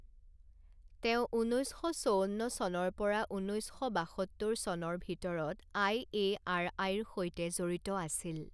তেওঁ ঊনৈছ শ চৌৱন্ন চনৰ পৰা ঊনৈছ শ বাসত্তৰ চনৰ ভিতৰত আই এ আৰ আইৰ সৈতে জড়িত আছিল।